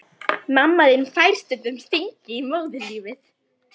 Mamma þín fær stundum stingi í móðurlífið.